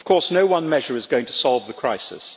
No one measure is going to solve the crisis.